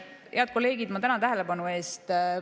Head kolleegid, ma tänan tähelepanu eest!